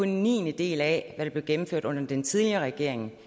en niendedel af hvad der blev gennemført under den tidligere regering